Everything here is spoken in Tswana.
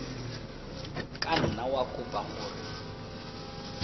ka nna wa kopa gore